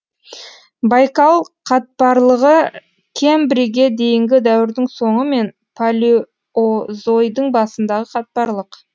байкал қатпарлығы кембрийге дейінгі дәуірдің соңы мен палеозойдың басындағы қатпарлық